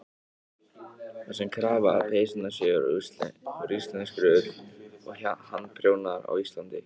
Það sé krafa að peysurnar séu úr íslenskri ull og handprjónaðar á Íslandi.